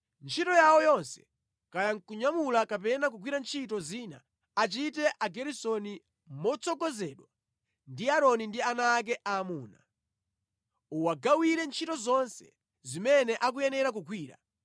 Ntchito yawo yonse, kaya kunyamula kapena kugwira ntchito zina, achite Ageresoni motsogozedwa ndi Aaroni ndi ana ake aamuna. Uwagawire ntchito zonse zimene akuyenera kugwira.